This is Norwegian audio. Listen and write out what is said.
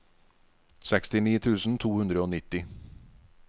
sekstini tusen to hundre og nitti